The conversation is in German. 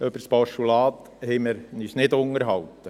Über das Postulat haben wir uns nicht unterhalten.